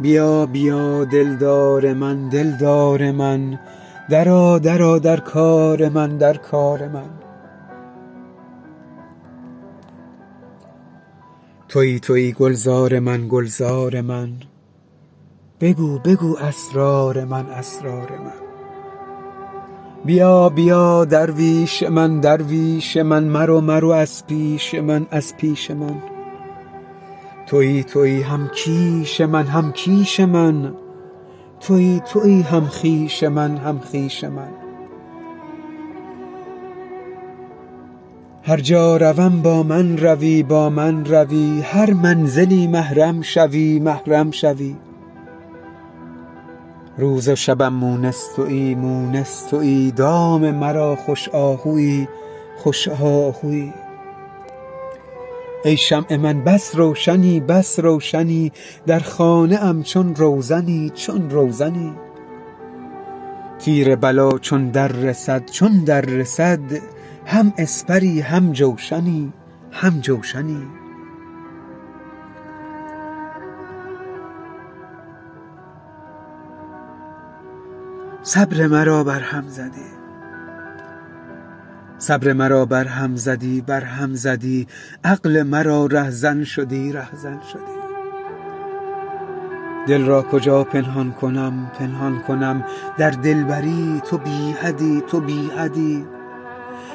بیا بیا دلدار من دلدار من درآ درآ در کار من در کار من تویی تویی گلزار من گلزار من بگو بگو اسرار من اسرار من بیا بیا درویش من درویش من مرو مرو از پیش من از پیش من تویی تویی هم کیش من هم کیش من تویی تویی هم خویش من هم خویش من هر جا روم با من روی با من روی هر منزلی محرم شوی محرم شوی روز و شبم مونس تویی مونس تویی دام مرا خوش آهویی خوش آهویی ای شمع من بس روشنی بس روشنی در خانه ام چون روزنی چون روزنی تیر بلا چون دررسد چون دررسد هم اسپری هم جوشنی هم جوشنی صبر مرا برهم زدی برهم زدی عقل مرا رهزن شدی رهزن شدی دل را کجا پنهان کنم پنهان کنم در دلبری تو بی حدی تو بی حدی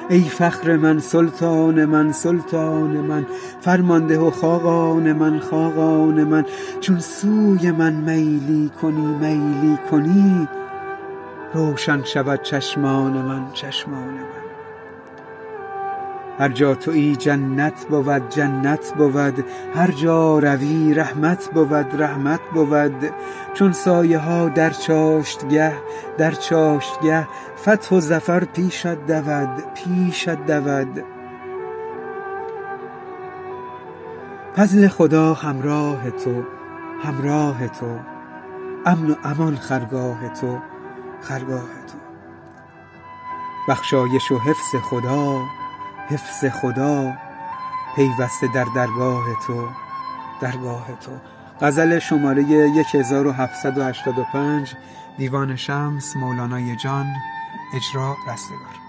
ای فخر من سلطان من سلطان من فرمان ده و خاقان من خاقان من چون سوی من میلی کنی میلی کنی روشن شود چشمان من چشمان من هر جا توی جنت بود جنت بود هر جا روی رحمت بود رحمت بود چون سایه ها در چاشتگه در چاشتگه فتح و ظفر پیشت دود پیشت دود فضل خدا همراه تو همراه تو امن و امان خرگاه تو خرگاه تو بخشایش و حفظ خدا حفظ خدا پیوسته در درگاه تو درگاه تو